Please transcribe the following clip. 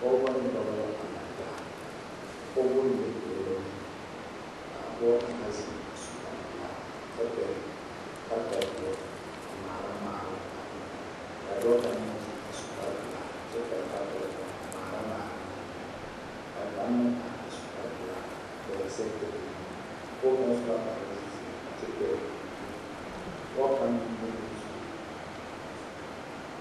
Pɔgeba ne dɔba la a laŋ taa a pɔgeba mine pɛgle la biiri k,a pɔge kaŋa zeŋ a su kparepelaa kyɛ pɛgle kartadoɔ a ŋmaara ŋmaaroŋ a eŋnɛ k,a dɔɔ kaŋ meŋ zeŋ a su kparepelaa kyɛ pɛgle kartadoɔ a ŋmaara ŋmaaroŋ eŋnɛ a kaŋ meŋ are a su kparepelaa a pɛgle sɛgedalee a pɔge kaŋ su la kpare zeɛ a kyɛ pɛgle o bie pɔge kaŋ meŋ leŋ la zuko.